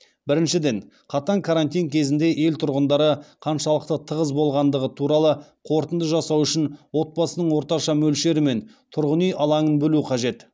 біріншіден қатаң карантин кезінде ел тұрғындары қаншалықты тығыз болғандығы туралы қорытынды жасау үшін отбасының орташа мөлшері мен тұрғын үй алаңын білу қажет